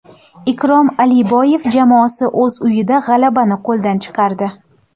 Ikrom Aliboyev jamoasi o‘z uyida g‘alabani qo‘ldan chiqardi.